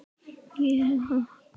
Kann ekkert á hann.